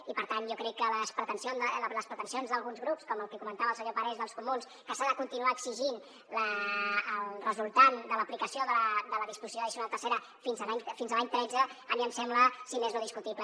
i per tant jo crec que les pretensions d’alguns grups com el que comentava el senyor parés dels comuns que s’ha de continuar exigint el resultant de l’aplicació de la disposició addicional tercera fins a l’any tretze a mi em sembla si més no discutible